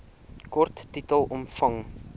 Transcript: kort titel omvang